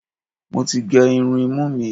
Mo ti gé irun imú mi.